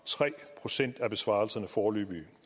tre procent af besvarelserne foreløbige